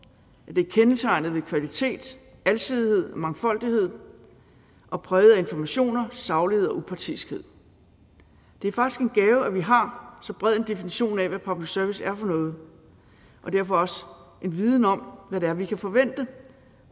det er kendetegnet ved kvalitet alsidighed mangfoldighed og brede informationer saglighed og upartiskhed det er faktisk en gave at vi har så bred en definition af hvad public service er for noget og derfor også en viden om hvad det er vi kan forvente